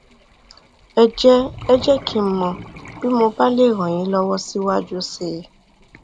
ẹ jẹ ẹ jẹ kí n mọ bí mo bá lè ràn yín lọwọ síwájú sí i